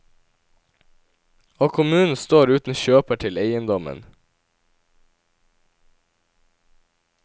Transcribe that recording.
Og kommunen står uten kjøper til eiendommen.